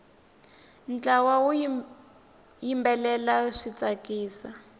ntlawa wu yimbelela swi tsakisa